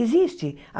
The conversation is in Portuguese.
Existe.